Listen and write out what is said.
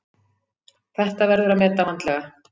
Þetta verður að meta vandlega.